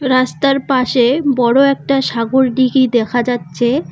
রাস্তার পাশে বড় একটা সাগরডিঘি দেখা যাচ্ছে।